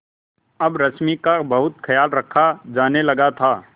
अब रश्मि का बहुत ख्याल रखा जाने लगा था